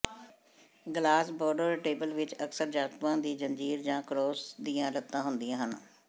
glass boudoir table ਵਿੱਚ ਅਕਸਰ ਧਾਤੂਆਂ ਦੀ ਜੰਜੀਰ ਜਾਂ ਕਰੋਮ ਦੀਆਂ ਲੱਤਾਂ ਹੁੰਦੀਆਂ ਹਨ